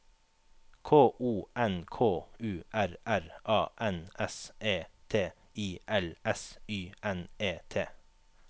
K O N K U R R A N S E T I L S Y N E T